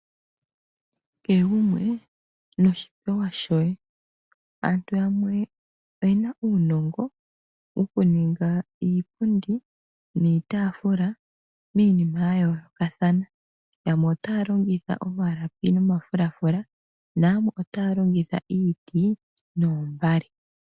Kehe gumwe noshipewa shoye. Aantu yamwe oye na uunongo wokuninga iipundi niitaafula miinima ya yoolokathana. Yamwe otaya longitha omalapi nomafulafula nayamwe otaya longitha iiti noombale.